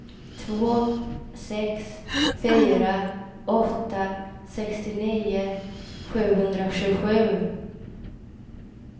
två sex fyra åtta sextionio sjuhundratjugosju